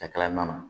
A kɛla nan na